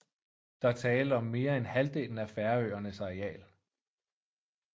Der er tale om mere end halvdelen af Færøernes areal